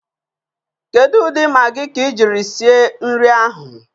Kedu ụdị Maagị ka ị jiri sie nri ahụ?